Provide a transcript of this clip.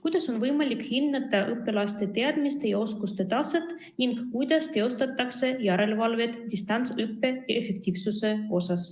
Kuidas on võimalik hinnata õpilaste teadmiste ja oskuste taset ning kuidas teostatakse järelevalvet distantsõppe efektiivsuse üle?